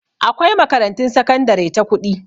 Akwai makarantun sakandare ta kuɗi